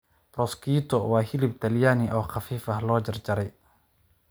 Prosciutto waa hilib Talyaani oo khafiif ah oo la jarjaray.